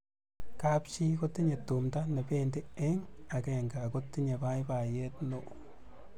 kap chii ko tinye tumdo nebendi eng' akenge akotinye baibaiet neo